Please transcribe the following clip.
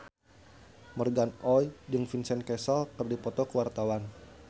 Morgan Oey jeung Vincent Cassel keur dipoto ku wartawan